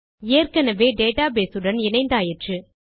ஏற்கெனெவே டேட்டாபேஸ் உடன் இணைந்தாயிற்று